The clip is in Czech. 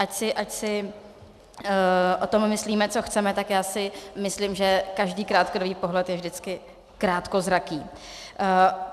Ať si o tom myslíme, co chceme, tak já si myslím, že každý krátkodobý pohled je vždycky krátkozraký.